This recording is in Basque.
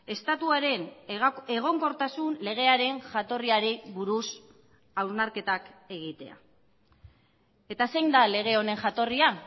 estatuaren egonkortasun legearen jatorriari buruz hausnarketak egitea eta zein da lege honen jatorria